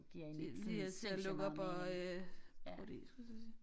Det lige til at lukke op og øh prutte i skulle jeg til at sige